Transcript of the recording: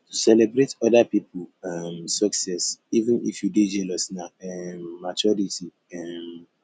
to celebrate oda pipo um success even if you dey jealous na um maturity um